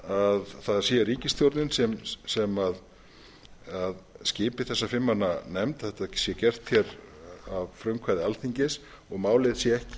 er að það sé ríkisstjórnin sem skipi þessa fimm manna nefnd að þetta sé gert hér að frumkvæði alþingis og málið sé ekki